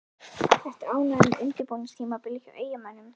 Ertu ánægður með undirbúningstímabilið hjá Eyjamönnum?